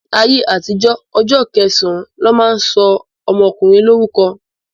Ní ayé àtijó, ọjọ́ kẹsàn-án lọ́ máa ń sọ ọmọkùnrin lórúkọ.